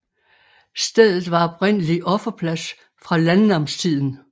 Stedet var oprindelig offerplads fra landnamstiden